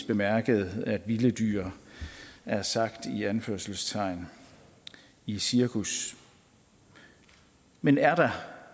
bemærket at vilde dyr er sagt i anførselstegn i cirkus men er der